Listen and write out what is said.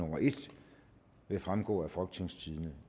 vil fremgå af folketingstidende